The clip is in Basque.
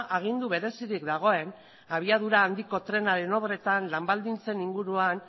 agindu berezirik dagoen abiadura handiko trenaren obretan lan baldintzen inguruan